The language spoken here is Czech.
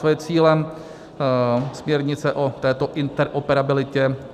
Co je cílem směrnice o této interoperabilitě?